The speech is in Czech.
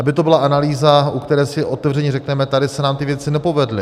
Aby to byla analýza, u které si otevřeně řekneme: tady se nám ty věci nepovedly.